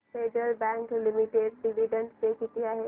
federal Bank limited dividend pay किती आहे